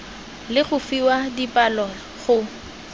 le go fiwa dipalo go